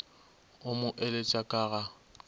o mo eletše ka ga